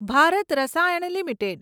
Bharat Rasayan limited